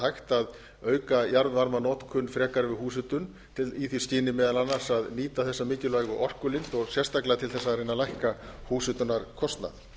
hægt að auka jarðvarmanotkun frekar við húshitun í því skyni meðal annars að nýta þessa mikilvægu orkulind og sérstaklega til þess að reyna að lækka húshitunarkostnað